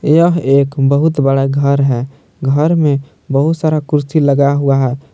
यह एक बहुत बड़ा घर है घर में बहुत सारा कुर्सी लगा हुआ है।